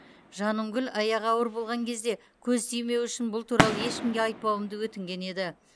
жанымгүл аяғы ауыр болған кезде көз тимеуі үшін бұл туралы ешкімге айтпауымды өтінген еді